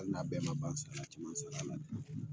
Hali n'a bɛɛ ma ban sala caman sala a la dɛ